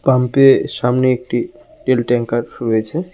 Pump -এ সামনে একটি তেল ট্যাংকার রয়েছে।